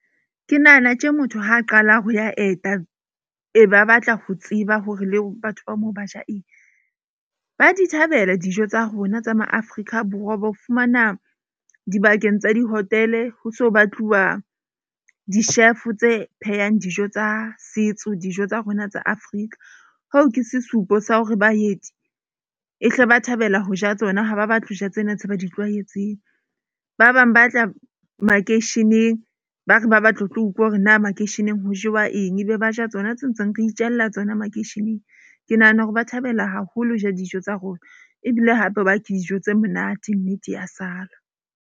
Ke nahana tje motho ha a qala ho ya eta. Ee ba batla ho tseba hore le batho ba moo ba ja eng. Ba di thabela dijo tsa rona tsa ma Afrika Borwa wa ba fumana dibakeng tsa di-hotel-e ho so batluwa di-chef-o tse phehang dijo tsa setso, dijo tsa rona tsa Afrika. Ho ke sesupo sa hore baeti e hle ba thabela ho ja tsona ha ba batle hoja tsena tse ba di tlwaetseng. Ba bang ba tla makeisheneng ba re ba batla ho tlo utlwa hore na makeisheneng ho jewa eng. Ebe ba ja tsona tse ntseng re itjalla tsona makeisheneng. Ke nahana hore ba thabela haholo ho ja dijo tsa rona ebile hape ba ke dijo tse monate nnete ya sala.